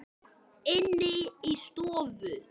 Inni í stofu.